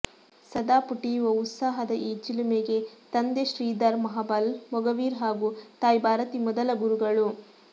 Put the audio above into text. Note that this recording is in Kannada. ಸದಾ ಪುಟಿಯುವ ಉತ್ಸಾಹದ ಈ ಚಿಲುಮೆಗೆ ತಂದೆ ಶ್ರೀಧರ್ ಮಹಾಬಲ್ ಮೊಗವೀರ ಹಾಗೂ ತಾಯಿ ಭಾರತಿ ಮೊದಲ ಗುರುಗಳು